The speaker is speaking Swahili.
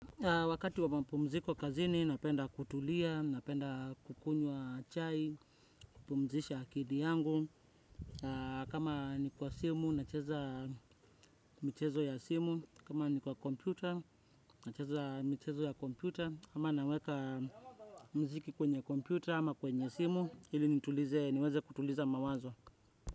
Wakati wa mapumziko kazini, napenda kutulia, napenda kukunywa chai, kupumzisha akili yangu, kama ni kwa simu, nacheza michezo ya simu, kama ni kwa kompyuta, nacheza michezo ya kompyuta, ama naweka mziki kwenye kompyuta ama kwenye simu, ili nitulize niweze kutuliza mawazo.